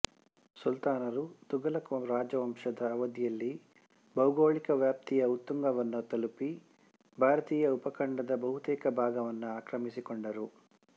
ಸುಲ್ತಾನರು ತುಘಲಕ್ ರಾಜವಂಶದ ಅವಧಿಯಲ್ಲಿ ಭೌಗೋಳಿಕ ವ್ಯಾಪ್ತಿಯ ಉತ್ತುಂಗವನ್ನು ತಲುಪಿ ಭಾರತೀಯ ಉಪಖಂಡದ ಬಹುತೇಕ ಭಾಗವನ್ನು ಆಕ್ರಮಿಸಿಕೊಂಡರು